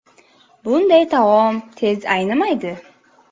Bunday taom tez aynimaydi.